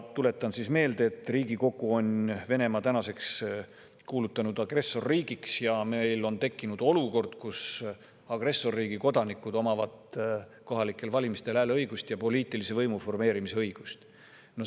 Tuletan meelde, et Riigikogu on Venemaa tänaseks kuulutanud agressorriigiks ja meil on tekkinud olukord, kus agressorriigi kodanikud omavad kohalikel valimistel hääleõigust ja poliitilise võimu formeerimise õigust.